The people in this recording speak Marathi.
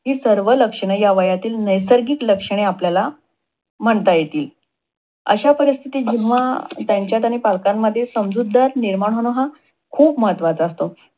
हि सर्व लक्षण ह्या वयातील नैसर्गिक लक्षणे आपल्याला म्हणता येतील. अशा परीस्थित जेव्हा त्यांच्यात आणि पालकांत समजूतदारपणा निर्माण होण खूप महत्वाचा असतो.